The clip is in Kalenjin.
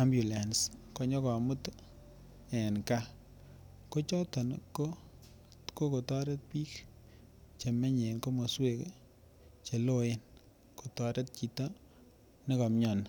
ambulance konyokomut en gaa, kochoton ko kokotoret bik chemenye komoswek cheloen kotoret chito nekomioni.